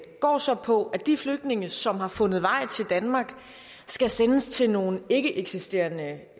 går så på at de flygtninge som har fundet vej til danmark skal sendes til nogle ikkeeksisterende